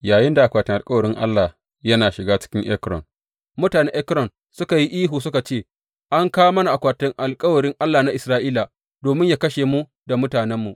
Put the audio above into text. Yayinda akwatin alkawarin Allah yana shiga cikin Ekron, mutanen Ekron suka yi ihu, suka ce, An kawo mana akwatin alkawarin Allah na Isra’ila domin yă kashe mu da mutanenmu.